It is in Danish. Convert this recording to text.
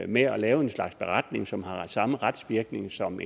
med at lave en slags beretning som har samme retsvirkning som